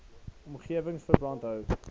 omgewing verband hou